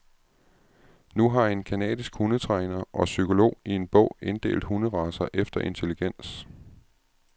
Nu har en canadisk hundetræner og psykolog i en bog inddelt hunderacer efter intelligens.